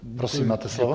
Prosím, máte slovo.